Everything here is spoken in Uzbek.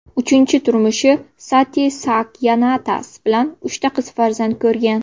Uchinchi turmushi Sati Saakyanats bilan uchta qiz farzand ko‘rgan.